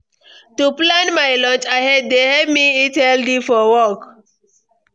To plan my lunch ahead dey help me eat healthy for work.